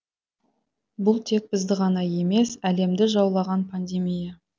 бұл тек бізді ғана емес әлемді жаулаған пандемия